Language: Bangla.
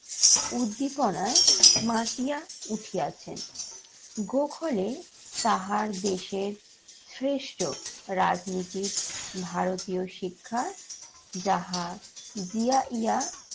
উদ্দীপনায় মাতিয়া উঠিয়াছেন। গোখলে তাহার দেশের শ্রেষ্ঠ রাজনীতির ভারতীয় শিক্ষার যাহা জিয়াইয়া